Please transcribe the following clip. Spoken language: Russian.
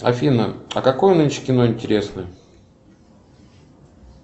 афина а какое нынче кино интересное